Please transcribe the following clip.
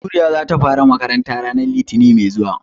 Baturiya za ta fara makaranta ranar litinin mai zuwa.